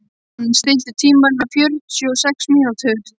Sigurmann, stilltu tímamælinn á fjörutíu og sex mínútur.